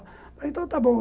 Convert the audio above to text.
Eu falei, então está bom.